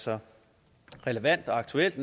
så relevant og aktuelt